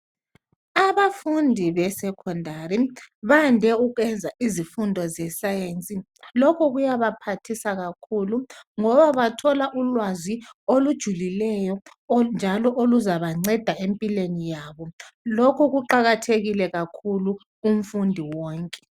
Abafundi beSekhondari bande ukwenza izifundo ze"science ".Lokho kuyabaphathisa kakhulu ngoba bathola ulwazi olujulileyo njalo oluzabanceda empilweni yabo. Lokhu kuqakathekile kakhulu kumfundi wonke.